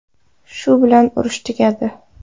Shu bilan urush tugadi.